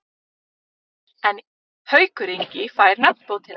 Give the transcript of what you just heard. En Haukur Ingi fær nafnbótina.